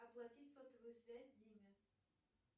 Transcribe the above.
оплатить сотовую связь диме